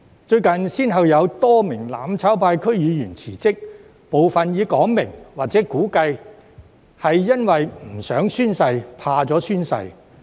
最近，先後有多名"攬炒派"區議員辭職，部分已表明或估計是由於拒絕或害怕宣誓。